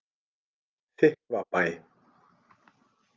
Þykkvabæ